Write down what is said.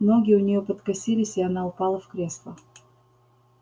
ноги у неё подкосились и она упала в кресло